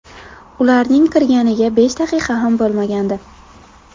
Ularning kirganiga besh daqiqa ham bo‘lmagandi.